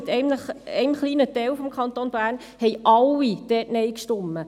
Mit Ausnahme eines kleinen Teils des Kantons Bern haben alle Nein gestimmt.